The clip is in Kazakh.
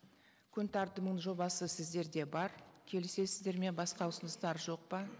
күн тәртібінің жобасы сіздерде бар келісесіздер ме басқа ұсыныстар жоқ па